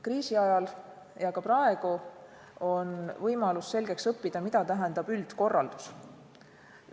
Kriisi ajal ja ka praegu on võimalus selgeks õppida, mida tähendab üldkorraldus.